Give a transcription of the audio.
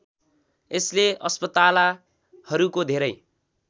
यसले अस्पतालाहरूको धेरै